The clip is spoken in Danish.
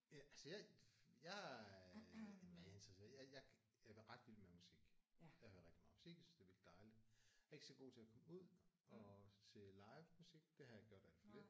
Altså jeg jeg øh jamen hvad er jeg interesseret øh jeg jeg er ret vild med musik. Jeg hører rigtig meget musik. Jeg synes det er virkeligt dejligt. Jeg er ikke så god til at komme ud at se livemusik. Det har jeg gjort alt for lidt